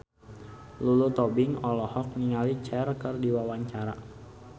Lulu Tobing olohok ningali Cher keur diwawancara